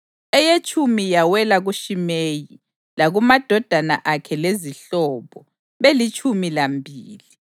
eyetshumi yawela kuShimeyi, lakumadodana akhe lezihlobo, belitshumi lambili;